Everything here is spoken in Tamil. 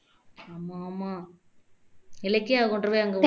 ஆமா ஆமா இலக்கியாவை கொண்டு போய் அங்க